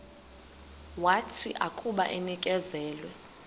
wathi akuba enikezelwe